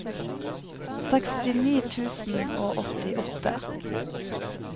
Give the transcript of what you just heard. sekstini tusen og åttiåtte